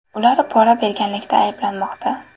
Ular pora berganlikda ayblanmoqda.